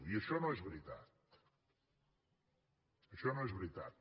i això no és veritat això no és veritat